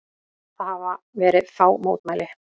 Það hafa verið fá mótmæli